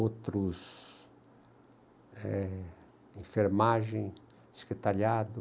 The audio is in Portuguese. Outros, eh, enfermagem, secretariado.